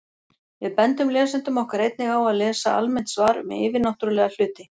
Við bendum lesendum okkar einnig á að lesa almennt svar um yfirnáttúrulega hluti.